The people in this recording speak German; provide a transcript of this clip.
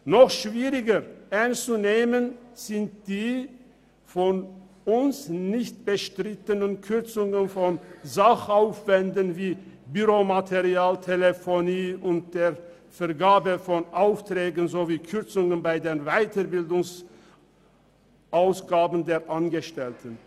Noch schwieriger ernst zu nehmen sind die von uns nicht bestrittenen Kürzungen von Sachaufwänden wie Büromaterial, Telefonie und bei der Vergabe von Aufträgen sowie Kürzungen bei den Weiterbildungsausgaben der Angestellten.